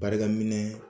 Barika minɛ